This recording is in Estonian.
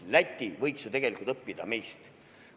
Läti võiks ju tegelikult meilt õppida.